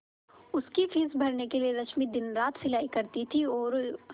उसकी फीस भरने के लिए रश्मि दिनरात सिलाई करती थी और